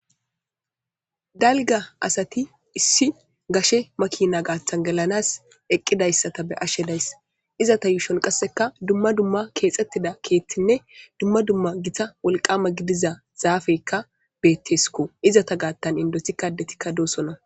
Dalga asati issi gashe makina gaaththan gelanas eqqidayssata be ashe days izata yuushon qasseka dumma dumma keexxettida keethtinne dumma dumma gita wolqama gidiza zaafeykka beettesko izata gaattan indosi kadetikka doosonna